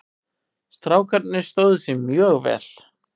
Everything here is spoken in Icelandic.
Strákarnir stóðu sig mjög vel.